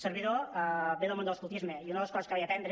servidor ve del món de l’escoltisme i una de les coses que vaig aprendre